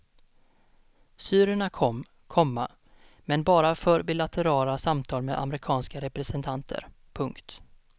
Syrierna kom, komma men bara för bilaterala samtal med amerikanska representanter. punkt